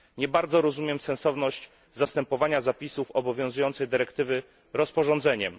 Nie bardzo rozumiem sensowność zastępowania zapisów obowiązującej dyrektywy rozporządzeniem.